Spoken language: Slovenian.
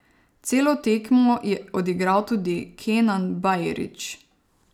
Celo tekmo je odigral tudi Kenan Bajrić.